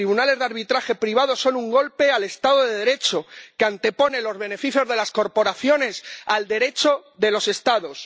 Los tribunales de arbitraje privados son un golpe al Estado de Derecho que anteponen los beneficios de las corporaciones al Derecho de los Estados.